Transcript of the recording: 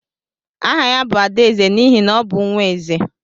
Áhà ya bu Adaeze n'ihi na ọ bụ nwaeze.